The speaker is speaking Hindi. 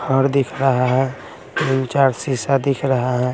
घर दिख रहा है दु चार शीशा दिख रहा है।